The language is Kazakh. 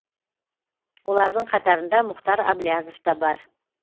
олардың қатарында мұхтар аблязов та бар